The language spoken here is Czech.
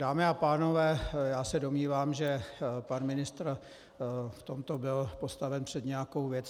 Dámy a pánové, já se domnívám, že pan ministr v tomto byl postaven před nějakou věc.